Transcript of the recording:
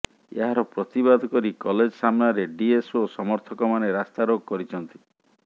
ଏହାର ପ୍ରତିବାଦ କରି କଲେଜ ସାମ୍ନାରେ ଡିଏସ୍ଓ ସମର୍ଥକମାନେ ରାସ୍ତାରୋକ କରିଛନ୍ତି